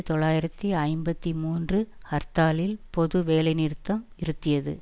தொள்ளாயிரத்தி ஐம்பத்தி மூன்று ஹர்த்தாலில் பொது வேலைநிறுத்தம் இருத்தியது